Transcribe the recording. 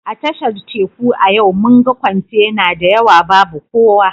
A tashar Teku a yau mun ga kwantena da yawa babu kowa